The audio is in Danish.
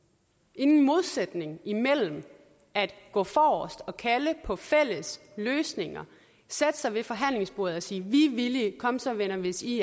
ingen modsætning imellem at gå forrest og kalde på fælles løsninger sætte sig ved forhandlingsbordet og sige vi er villige kom så venner hvis i